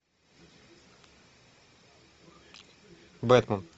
бэтмен